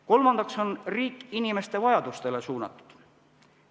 Kolmandaks on riik inimeste vajadustele suunatud.